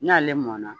N'ale mɔna